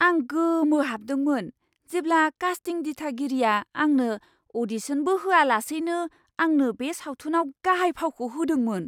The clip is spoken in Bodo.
आं गोमोहाबदोंमोन जेब्ला कास्टिं दिथागिरिया आंनो अ'डिशनबो होआलासैनो आंनो बे सावथुनाव गाहाय फावखौ होदोंमोन!